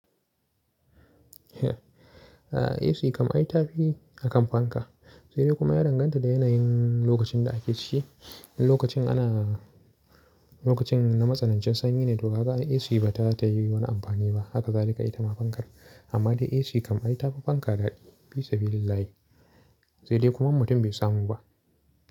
A'a, AC kam ai ta fi akan fanka, sai dai kuma ya danganta da yanayin lokacin da ake ci. In lokacin ana, lokacin na matsanancin sanyi ne to kaaa AC ba ta ta yi wani amfani ba. Haka zalika ita ma fankar. Amma dai AC kam ai ta fi fanka dadi fisabillahi Sai dai kuma mutum bai samu ba.